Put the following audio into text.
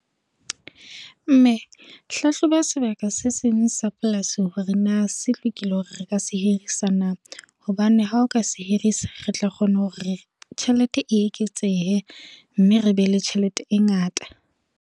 Mme, hlahloba sebaka se seng sa polasi hore naa se lokile hore re ka se hirisa naa. Hobane ha o ka se hirisa re tla kgona hore tjhelete e eketsehe, mme re be le tjhelete e ngata.